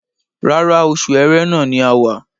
Rárá, oṣù Ẹrẹ́nà ni a wà